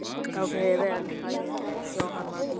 Gangi þér allt í haginn, Jóhanndína.